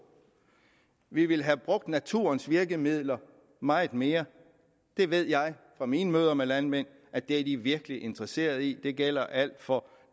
vi ville have brugt naturens virkemidler meget mere det ved jeg fra mine møder med landmand at de er virkelig interesseret i det gælder alt fra